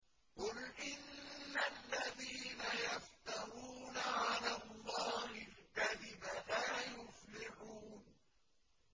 قُلْ إِنَّ الَّذِينَ يَفْتَرُونَ عَلَى اللَّهِ الْكَذِبَ لَا يُفْلِحُونَ